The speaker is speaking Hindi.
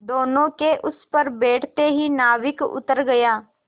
दोेनों के उस पर बैठते ही नाविक उतर गया